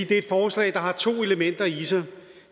det er et forslag der har to elementer i sig